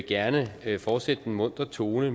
gerne fortsætte i den muntre tone